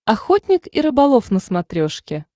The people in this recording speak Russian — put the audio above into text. охотник и рыболов на смотрешке